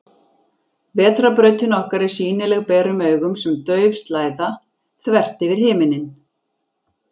Vetrarbrautin okkar er sýnileg berum augum sem dauf slæða, þvert yfir himinninn.